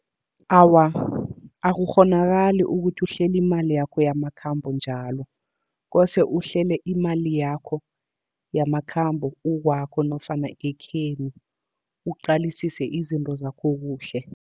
Awa, akukghonakali ukuthi uhlele imali yakho yamakhambo njalo. Kose uhlele imali yakho yamakhambo ukwakho nofana ekhenu, uqalisise izinto zakho kuhle.